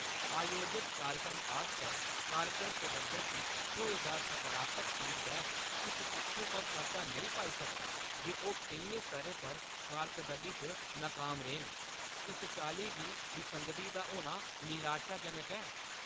आयोजत कार्यक्रम आस्तै कार्यक्रम प्रबंधक गी थ्होए दा सकारात्मक फीडबैक इस तत्थै पर पर्दा नेईं पाई सकेआ जे ओह् केइयें स्तरें पर कारर्कदगी च नाकाम रेह् न। इस चाल्ली दी विसंगति दा होना निराशाजनक ऐ।